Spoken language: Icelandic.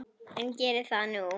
En geri það nú.